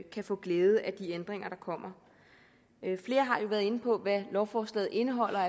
kan få glæde af de ændringer der kommer flere har jo været inde på hvad lovforslaget indeholder